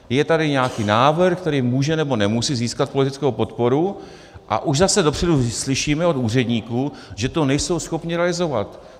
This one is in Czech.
Je tady nějaký návrh, který může, nebo nemusí získat politickou podporu, a už zase dopředu slyšíme od úředníků, že to nejsou schopni realizovat.